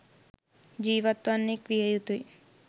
ජීවත් වන්නෙක් විය යුතුයි.